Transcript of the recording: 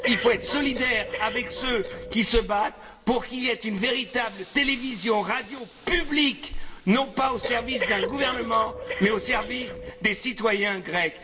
Il faut être solidaires avec ceux qui se battent pour qu'il y ait une véritable télévision radio publique, non pas au service d'un gouvernement, mais au service des citoyens grecs.